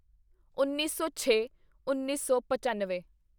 ਉੱਨੀ ਸੌਛੇਉੱਨੀ ਸੌ ਪੱਚਨਵੇਂ